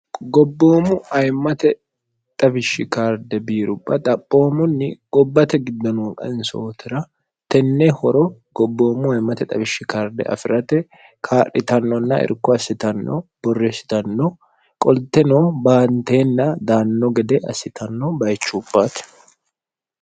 gobboomu ayimmate xawishshi karde biirupha xaphoomunni gobbate giddonoo qansootira tenne horo gobboommu ayimmate xawishshi karde afi'rate kaadhitannonna irko assitanno borreessitanno qolteno baanteenna daanno gede assitanno bayichuuphaate